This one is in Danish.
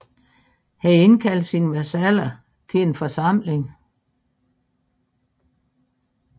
Han indkaldte sine vasaller til en forsamling